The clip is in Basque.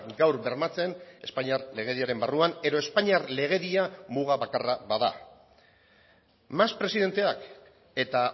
gaur bermatzen espainiar legediaren barruan edo espainiar legedia muga bakarra bada mas presidenteak eta